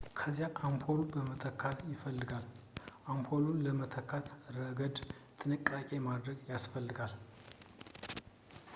ከዚያ አምፖሉ መተካት ይፈልጋል አምፖሉን በመተካት ረገድ ጥንቃቄ ማድረግ ያስፈልጋል